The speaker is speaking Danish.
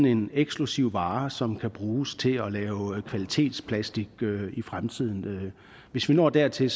en eksklusiv vare som kan bruges til at lave kvalitetsplastik i fremtiden hvis vi når dertil